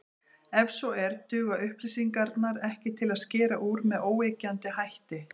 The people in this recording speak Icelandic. Ef svo er, duga upplýsingarnar ekki til að skera úr með óyggjandi hætti.